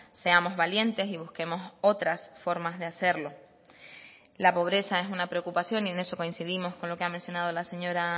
seamos valientes y busquemos otras formas de hacerlo la pobreza es una preocupación y en eso coincidimos con lo que ha mencionado la señora